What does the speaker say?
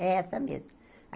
É essa mesmo.